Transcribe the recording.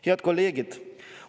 Head kolleegid!